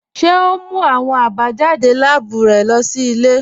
Ṣe o n mú awọn àbájádé láàbù rẹ lọ sí ilẹ̀?